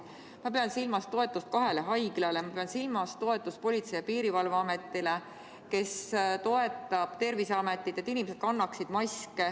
Ma pean silmas toetust kahele haiglale, ma pean silmas toetust Politsei- ja Piirivalveametile, kes toetab Terviseametit selles, et inimesed kannaksid maske.